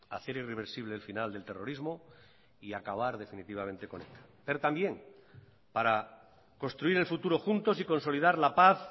hacer irreversible el final del terrorismo y acabar definitivamente con eta pero también para construir el futuro juntos y consolidar la paz